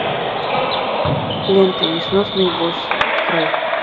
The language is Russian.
лента несносные боссы открой